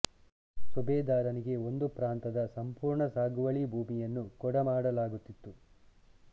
ಸುಬೇದಾರನಿಗೆ ಒಂದು ಪ್ರಾಂತದ ಸಂಪೂರ್ಣ ಸಾಗುವಳಿ ಭೂಮಿಯನ್ನು ಕೊಡ ಮಾಡಲಾಗುತ್ತಿತ್ತು